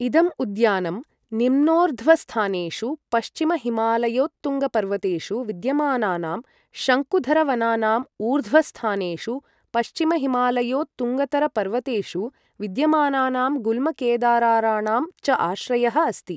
इदम् उद्यानं निम्नोर्ध्वस्थानेषु पश्चिमहिमालयोत्तुङ्गपर्वतेषु विद्यमानानां शङ्कुधरवनानाम् ऊर्ध्वस्थानेषु पश्चिमहिमालयोत्तुङ्गतरपर्वतेषु विद्यमानानां गुल्मकेदाराराणां च आश्रयः अस्ति।